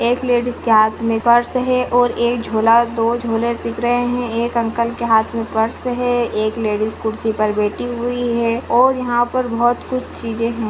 एक लेडिस के हाथ में पर्स है और एक झोला दो झोले दिख रहें हैं। एक अंकल के हाथ में पर्स है एक लेडिस खुर्सी पर बैठी हुई है और यहाँ पर बहुत कुछ चीज़े है।